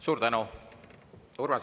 Suur tänu!